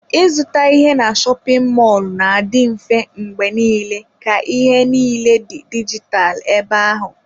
Ịzụta ihe na shopin mọlụ na-adị mfe mgbe niile ka ihe niile dị dijitalụ ebe ahụ.